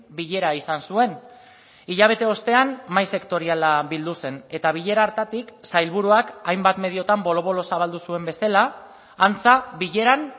bilera izan zuen hilabete ostean mahai sektoriala bildu zen eta bilera hartatik sailburuak hainbat mediotan bolo bolo zabaldu zuen bezala antza bileran